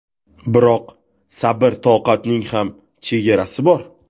Biroq sabr-toqatning ham chegarasi bor.